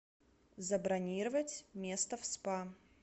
забронировать место в спа